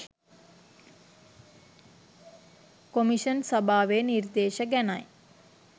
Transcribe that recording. commission සභාවේ නිර්දේශ ගැනයි